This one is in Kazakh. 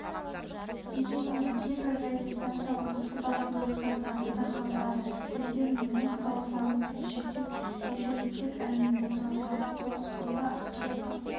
дегенмен кейбір радиостанциялар осы басымдықты тасада қалдырады өздерін музыкалық форматпен шектеп эфирді тек әуенмен толтырады толыққанды ақпараттық